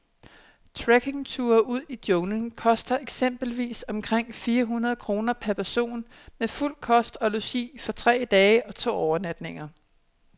Trekkingture ud i junglen koster eksempelvis omkring fire hundrede kroner per person med fuld kost og logi for tre dage og to overnatninger.